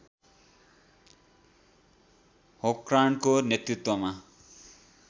होर्कान्डको नेतृत्वमा